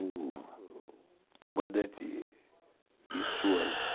O comandante e suas